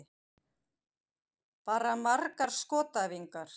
Bara margar skotæfingar.